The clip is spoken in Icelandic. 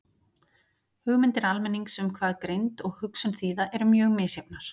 Hugmyndir almennings um hvað greind og hugsun þýða eru mjög misjafnar.